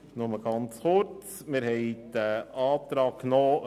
Kommissionspräsident der FiKo.